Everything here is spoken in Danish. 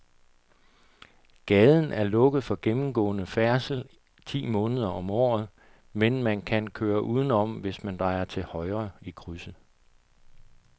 Gaden er lukket for gennemgående færdsel ti måneder om året, men man kan køre udenom, hvis man drejer til højre i krydset.